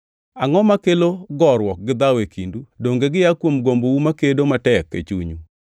Angʼo makelo goruok gi dhawo e kindu? Donge gia kuom gombou makedo matek e chunyu?